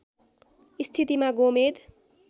स्थितिमा गोमेद